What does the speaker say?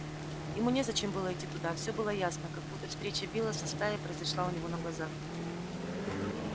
ему незачем было идти туда всё было ясно как будто встреча билла со стаей произошла у него на глазах